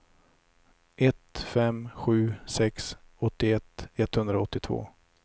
ett fem sju sex åttioett etthundraåttiotvå